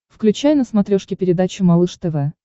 включай на смотрешке передачу малыш тв